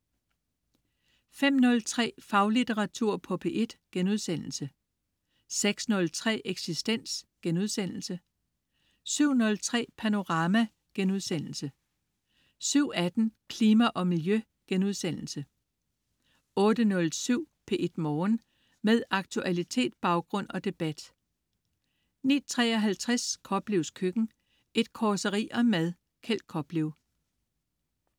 05.03 Faglitteratur på P1* 06.03 Eksistens* 07.03 Panorama* 07.18 Klima og Miljø* 08.07 P1 Morgen. Med aktualitet, baggrund og debat 09.53 Koplevs Køkken. Et causeri om mad. Kjeld Koplev